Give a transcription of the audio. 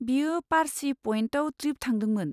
बियो पार्सि पयेन्टआव ट्रिप थांदोंमोन।